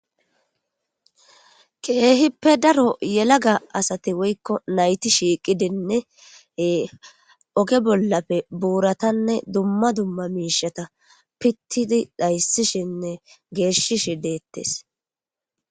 keehippe daro yelaga asati woykko nayti shiiqidinnee oge bollappe buuratanne dumma dumma miishata pittidi dhayssishinne geeshishi deettes